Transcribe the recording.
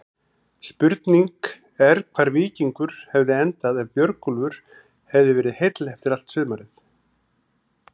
Spurning er hvar Víkingur hefði endað ef Björgólfur hefði verið heill allt sumarið?